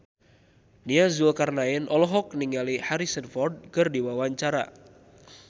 Nia Zulkarnaen olohok ningali Harrison Ford keur diwawancara